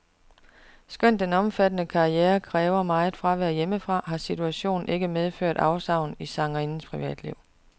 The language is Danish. Skønt den omfattende karriere kræver meget fravær hjemmefra, har situationen ikke medført afsavn i sangerindens privatliv.